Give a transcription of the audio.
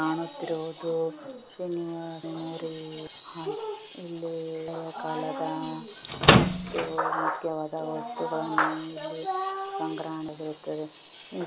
ಕಾಣುತ್ತಿರುವುದು ಶ್ರೀನಿವಾಸ ಮೆಮೋರಿಯಲ್ . ಇಲ್ಲಿ ಹಳೆ ಕಾಲದ ಮತ್ತು ಮುಖ್ಯವಾದ ವಸ್ತುಗಳ್ಳನ್ನು ಇಲ್ಲಿ ಸಂಗ್ರಹಣೆ ಮಾಡಲಾಗಿರುತ್ತದೆ.